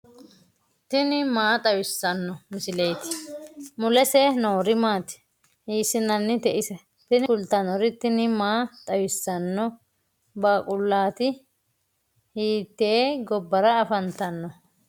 tini maa xawissanno misileeti ? mulese noori maati ? hiissinannite ise ? tini kultannori tini maa xawissanno baaqullaati hiitte gobbara afantanno